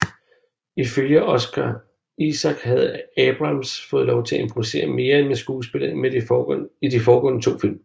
Ifølge Oscar Isaac havde Abrams fået lov til at improvisere mere med skuespillet end i de to foregående film